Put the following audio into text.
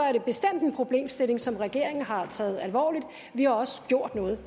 er det bestemt en problemstilling som regeringen har taget alvorligt og vi har også gjort noget